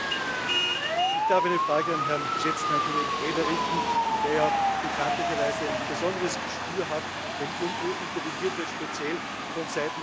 Ich darf eine Frage an den geschätzten Herrn Kollegen Preda richten, der ja bekanntlicherweise ein besonderes Gespür hat, wenn irgendwo interveniert wird, speziell vonseiten Russlands.